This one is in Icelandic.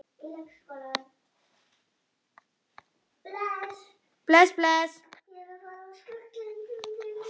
Þau öfunda hana.